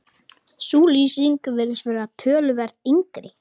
Sú lýsing virðist vera töluvert yngri.